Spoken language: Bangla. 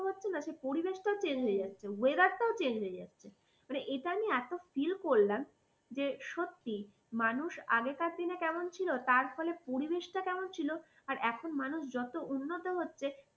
সেই পরিবেশটাও change হয়ে যাচ্ছে weather টাও change হয়ে যাচ্ছে। মানে এটা আমি এত feel করলাম যে সত্যি মানুষ আগেকার দিনে কেমন ছিল তার ফলে পরিবেশটা কেমন ছিল আর এখন মানুষ যত উন্নত হচ্ছে